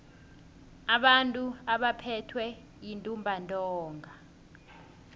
abantu abaphethwe yintumbantonga